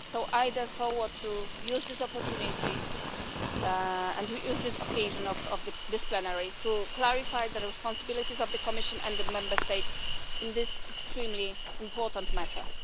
I therefore want to use this opportunity and the occasion of this plenary to clarify the responsibilities of the Commission and the Member States in this extremely important matter.